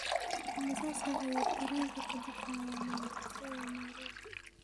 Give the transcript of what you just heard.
imisa saac ayuu tareenku ka baxaa mombasa ee nairobi